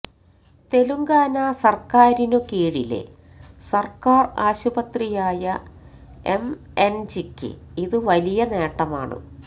തെലുങ്കാന സര്ക്കാരിന് കീഴിലെ സര്ക്കാര് ആശുപത്രിയായ എംഎന്ജിയ്ക്ക് ഇത് വലിയ നേട്ടമാണ്